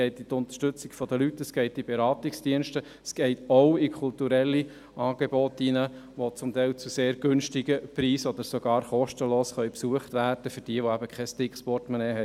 Es geht um die Unterstützung der Leute, um Beratungsdienste, auch um kulturelle Angebote, die zum Teil zu sehr tiefen Preisen oder sogar kostenlos von denjenigen besucht werden können, die kein dickes Portemonnaie haben.